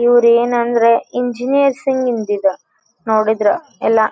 ಇವರೆನಂದ್ರೆ engineers ಇಂದ್ ಇದು ನೋಡದ್ರ ಎಲ್ಲಾ.